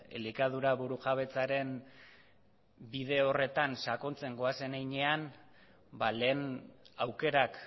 elikadura burujabetzaren bide horretan sakontzen goazen heinean ba lehen aukerak